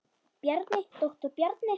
Bjarni, doktor Bjarni.